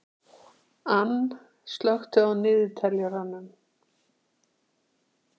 Anne, slökktu á niðurteljaranum.